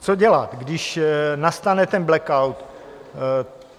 Co dělat, když nastane ten blackout?